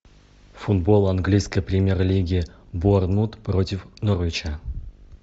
футбол английской премьер лиги борнмут против норвича